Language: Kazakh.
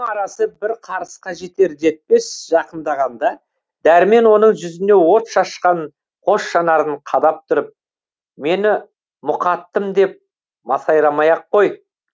арасы бір қарысқа жетер жетпес жақындағанда дәрмен оның жүзіне от шашқан қос жанарын қадап тұрып мені мұқаттым деп масайрамай ақ қой